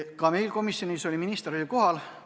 Ka komisjonis oli minister kohal.